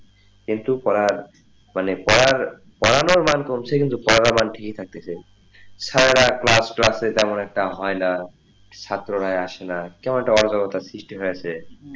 কিন্তু পড়ার মানে পড়ার পড়ানোর মান কমছে কিন্তু পড়ার মান ঠিক ই থাকতে চায় সারারাত class class তেমন একটা হয়না ছাত্ররা আসেনা কেমন একটা আজরোতার সৃষ্টি হয়েছে,